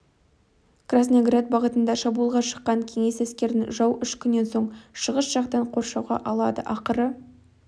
красноград бағытында шабуылға шыққан кеңес әскерін жау үш күннен соң шығыс жақтан қоршауға алады ақыры